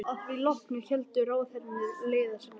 Að því loknu héldu ráðherrarnir leiðar sinnar.